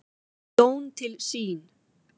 Jón til sín.